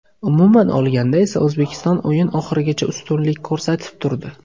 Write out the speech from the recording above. Umuman olganda esa O‘zbekiston o‘yin oxirigacha ustunlik ko‘rsatib turdi.